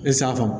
E safama